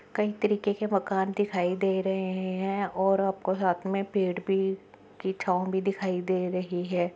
कई तरीके के मकान दिखाई दे र रहे है और यहा पे साथ में पेड़ भी की छाव भी दिखाई दे रही है।